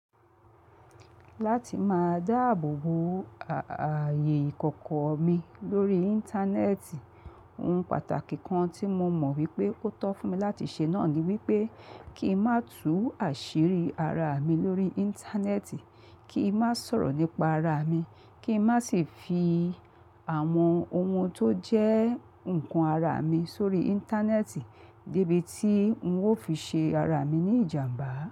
Láti máa dáàbò bo ààyè ìkọ̀kọ̀ mi lórí Íńtánẹ́ẹ̀tì, ohun pàtàkì kan tí mo mọ̀ wípé ó tọ́ fún mi láti ṣe náà ni wípé kí n má tú àṣírí ara mi lórí Íńtánẹ́ẹ̀tì, kí n má sọ̀rọ̀ nípa ara mi, kí n má sì fi àwọn ohun tó jẹ́ ǹkan ara mi sórí Íńtánẹ́ẹ̀tì débi tí ń ó fi ṣe ara mi ní ìjàǹbá.